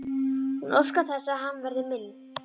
Hún óskar þess að hann verði minn.